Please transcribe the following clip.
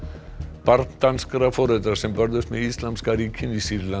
barn danskra foreldra sem börðust með Íslamska ríkinu í Sýrlandi